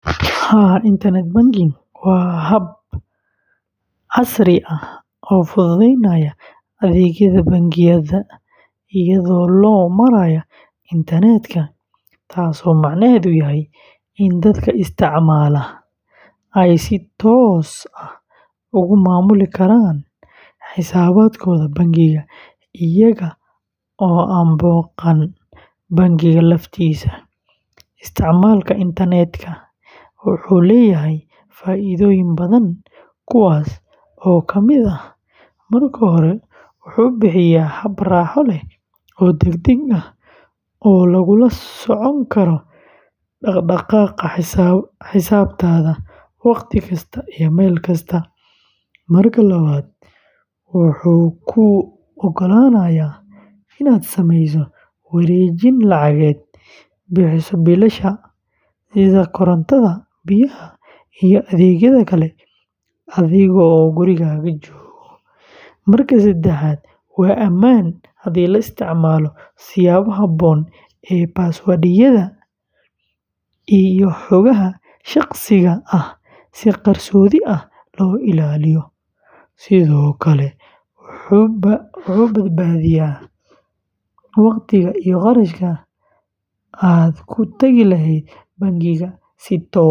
Haa, internet banking waa hab casri ah oo fududeynaya adeegyada bangiyada iyadoo loo marayo internet-ka, taas oo macnaheedu yahay in dadka isticmaala ay si toos ah uga maamuli karaan xisaabaadkooda bangiga iyaga oo aan booqan bangiga laftiisa. Isticmaalka internet-ka wuxuu leeyahay faa’iidooyin badan, kuwaas oo ka mid ah: marka hore, wuxuu bixiyaa hab raaxo leh oo degdeg ah oo lagula socon karo dhaqdhaqaaqa xisaabtaada wakhti kasta iyo meel kasta; marka labaad, wuxuu kuu ogolaanayaa inaad samayso wareejin lacageed, bixiso biilasha korontada, biyaha, iyo adeegyada kale adigoo gurigaaga jooga; marka saddexaad, waa ammaan haddii la isticmaalo siyaabo habboon oo password-yada iyo xogaha shakhsiga ah si qarsoodi ah loo ilaaliyo; sidoo kale, wuxuu badbaadiyaa wakhti iyo kharash aad ku tagi lahayd bangiga si toos ah.